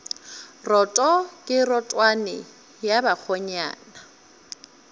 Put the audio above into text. roto ke rotwane ya bakgonyana